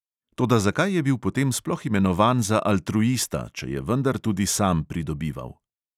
Toda zakaj je bil potem sploh imenovan za altruista, če je vendar tudi sam pridobival?